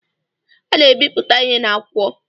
A na-ebipụta ihe n’akwụkwọ